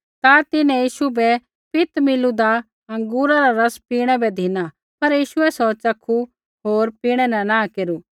ता तिन्हैं यीशु बै पित मिलूदा अँगूरा रा रस पीणै बै धिना पर यीशुऐ सौ च़खू होर पीणै न नाँह केरू